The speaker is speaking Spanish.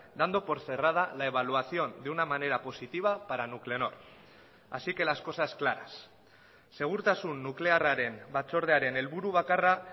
dando por cerrada la evaluación de una manera positiva para nuclenor así que las cosas claras segurtasun nuklearraren batzordearen helburu bakarra